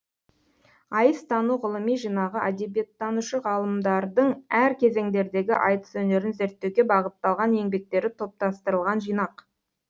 ғылыми жинағы әдебиеттанушы ғалымдардың әр кезеңдердегі айтыс өнерін зерттеуге бағытталған еңбектері топтастырылған жинақ